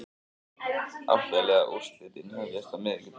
Átta liða úrslitin hefjast á miðvikudag